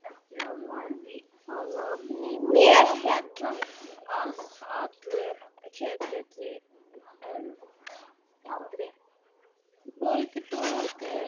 Mér féll allur ketill í eld.